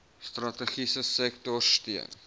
strategiese sektorsteun